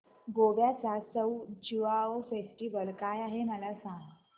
गोव्याचा सउ ज्युआउ फेस्टिवल काय आहे मला सांग